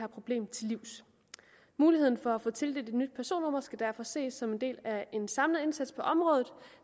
problemet til livs muligheden for at få tildelt et nyt personnummer skal derfor ses som en del af en samlet indsats på området